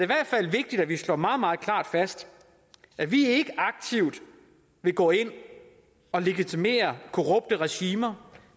hvert fald vigtigt at vi slår meget meget klart fast at vi ikke aktivt vil gå ind og legitimere korrupte regimer